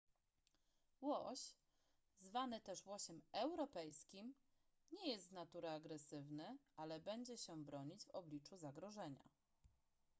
łoś zwany też łosiem europejskim nie jest z natury agresywny ale będzie się bronić w obliczu zagrożenia